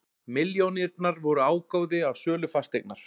Milljónirnar voru ágóði af sölu fasteignar